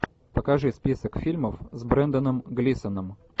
покажи список фильмов с бренданом глисоном